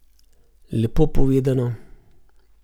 Lepo povedano.